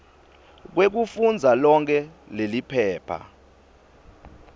kwekufundza lonkhe leliphepha